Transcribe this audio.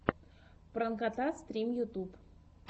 пранкота стрим ютьюб